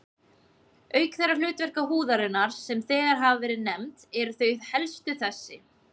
Auk þeirra hlutverka húðarinnar, sem þegar hafa verið nefnd, eru þau helstu þessi